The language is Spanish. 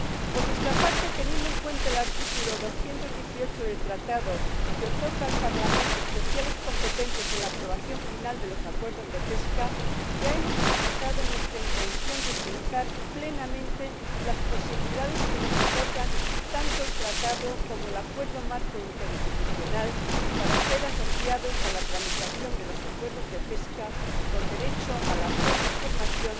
Por nuestra parte, teniendo en cuenta el artículo 218 del Tratado, que otorga al Parlamento competencias especiales en la aprobación final de los acuerdos de pesca, ya hemos expresado nuestra intención de utilizar plenamente las posibilidades que nos otorgan tanto el Tratado como el Acuerdo marco interinstitucional para ser asociados a la tramitación de los acuerdos de pesca con derecho a la plena información